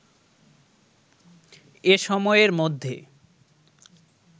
এ সময়ের মধ্যে